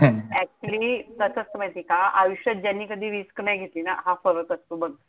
actually कसं असतं माहितीये का? आयुष्यात ज्यांनी कधी risk नाही घेतली ना. हा फरक असतो बघ.